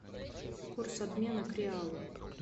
курс обмена к реалу